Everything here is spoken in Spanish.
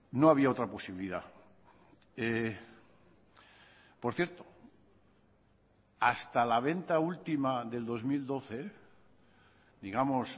no había otra posibilidad por cierto hasta la venta última del dos mil doce digamos